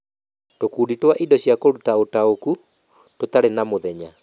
Tũkundi twa Indo cia Kũruta Ũtaũku , tũtarĩ na mũthenya